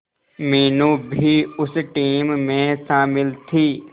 मीनू भी उस टीम में शामिल थी